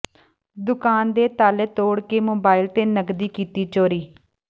ਦੁਕਾਨ ਦੇ ਤਾਲੇ ਤੋੜ ਕੇ ਮੋਬਾਈਲ ਤੇ ਨਕਦੀ ਕੀਤੀ ਚੋਰੀ